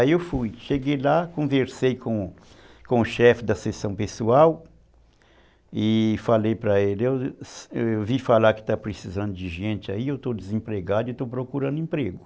Aí eu fui, cheguei lá, conversei com, com o chefe da sessão pessoal e falei para ele, eu vi falar que está precisando de gente aí, eu estou desempregado e estou procurando emprego.